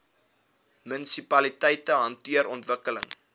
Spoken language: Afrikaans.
munisipaliteite hanteer ontwikkeling